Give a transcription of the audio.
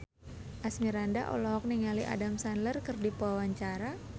Asmirandah olohok ningali Adam Sandler keur diwawancara